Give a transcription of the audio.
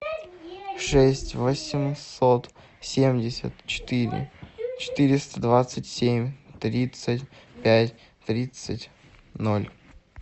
шесть восемьсот семьдесят четыре четыреста двадцать семь тридцать пять тридцать ноль